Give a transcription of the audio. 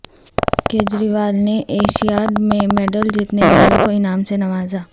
کجریوال نے ایشیاڈمیں میڈل جیتنے والوں کو انعام سے نوازا